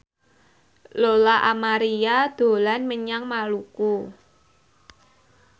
Lola Amaria dolan menyang Maluku